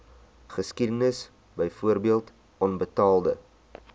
geskiedenis byvoorbeeld onbetaalde